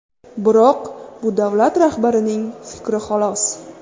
Biroq bu davlat rahbarining fikri xolos.